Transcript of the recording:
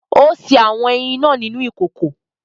Ó sè awọn ẹyin náà nínú ìkòkò